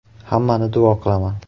Hammani duo qilaman.